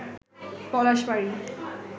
Palashbari